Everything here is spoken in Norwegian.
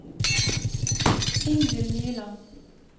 Ingvill Nyland